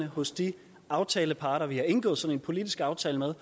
hos de aftaleparter vi har indgået sådan en politisk aftale med